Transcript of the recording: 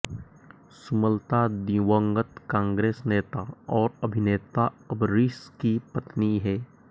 सुमलता दिवंगत कांग्रेस नेता और अभिनेता अंबरीष की पत्नी हैं